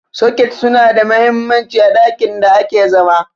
soket suna da mahimmanci a ɗakin da ake zama